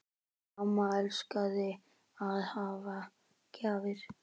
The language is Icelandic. Amma elskaði að gefa gjafir.